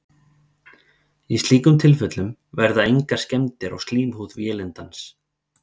í slíkum tilfellum verða engar skemmdir á slímhúð vélindans